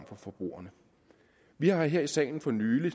for forbrugerne vi har her i salen for nylig